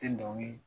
Tɛ dɔnkili